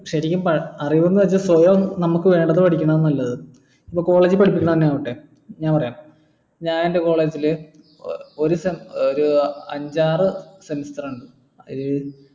ശരിക്കും അറിവെന്ന് വെച്ച സ്വയം നമുക്ക് വേണ്ടത് പഠിക്കുന്നത നല്ലത് ഇപ്പൊ college ൽ പഠിപ്പിക്കുന്ന എന്നെ ആവട്ടെ ഞാൻ പറയാം ഞാൻ എന്റെ college ൽ ഒരു അഞ്ചാറ് semester ആണ് ഏർ